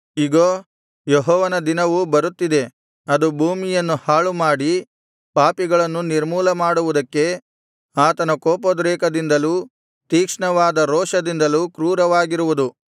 ಇಗೋ ಯೆಹೋವನ ದಿನವು ಬರುತ್ತಿದೆ ಅದು ಭೂಮಿಯನ್ನು ಹಾಳು ಮಾಡಿ ಪಾಪಿಗಳನ್ನು ನಿರ್ಮೂಲಮಾಡುವುದಕ್ಕೆ ಆತನ ಕೋಪೋದ್ರೇಕದಿಂದಲೂ ತೀಕ್ಷ್ಣವಾದ ರೋಷದಿಂದಲೂ ಕ್ರೂರವಾಗಿರುವುದು